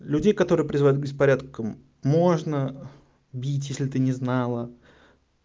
людей которые призывают к беспорядкам можно бить если ты не знала